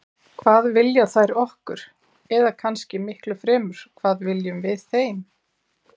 Hvað vilja þær okkur, eða kannski miklu fremur: hvað viljum við þeim?